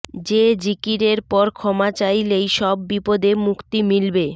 যে জিকিরের পর ক্ষমা চাইলেই সব বিপদে মুক্তি মিলবে